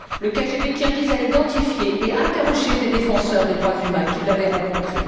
Le KGB kirghize a identifié et interrogé des défenseurs des droits humains qui l'avaient rencontré.